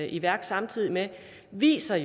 i værk samtidig med viser